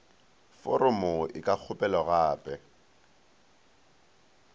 foromo e ka kgopelwa gape